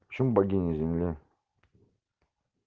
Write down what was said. почему богиня земля